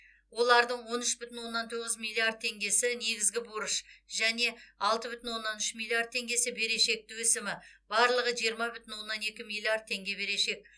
олардың он үш бүтін оннан тоғыз миллиард теңгесі негізгі борыш және алты бүтін оннан үш миллиард теңгесі берешекті өсімі барлығы жиырма бүтін оннан екі миллиард теңге берешек